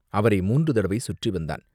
அவரை மூன்று தடவை சுற்றி வந்தான்!